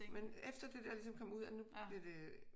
Men efter det dér ligesom kom ud at nu bliver det